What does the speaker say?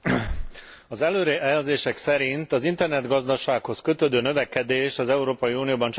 Az előrejelzések szerint az internetgazdasághoz kötődő növekedés az Európai Unióban csaknem